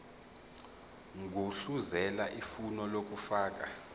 gudluzela ifomu lokufaka